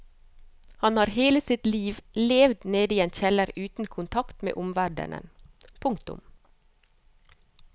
Han har hele sitt liv levd nede i en kjeller uten kontakt med omverdenen. punktum